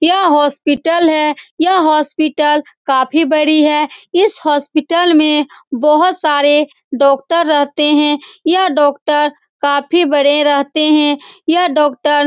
यह हॉस्पिटल है यह हॉस्पिटल काफी बड़ी है इस हॉस्पिटल में बहुत सारे डॉक्टर रहते है यह डॉक्टर काफी बड़े रहते है यह डॉक्टर --